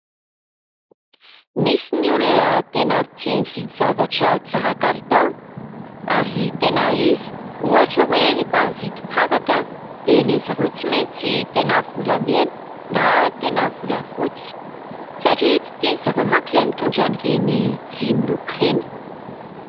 Misy ny olona tena tia mividy zavatra tsara kalitao, ary tena izy. Ohatra hoe, rehefa mividy firavaka dia ny an'izy ireo tsy maintsy tena volamena na tena volafotsy, satria tsy tian'izy ireo manko ilay mitondra ireny vy miloko ireny.